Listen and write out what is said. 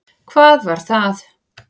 Hvað var það?